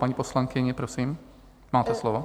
Paní poslankyně, prosím, máte slovo.